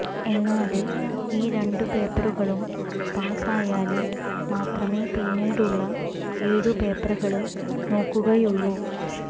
എന്നാല് ഈ രണ്ടു പേപ്പറുകളും പാസായാല് മാത്രമേ പിന്നീടുള്ള ഏഴു പേപ്പറുകള് നോക്കുകയുള്ളു